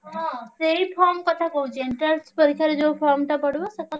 ହଁ ସେଇ form କଥା କହୁଛି entrance ପରୀକ୍ଷା ରେ ଯୋଉ form ଟା ପଡିବ ସେ କଥା।